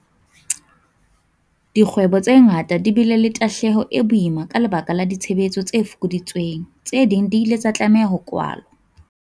Dikgwebo tse ngata di bile le tahlehelo e boima ka lebaka la ditshebetso tse fokoditsweng. Tse ding di ile tsa tlameha ho kwalwa.